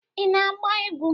ị na-agba egwu?